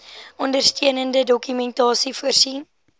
ondersteunende dokumentasie voorsien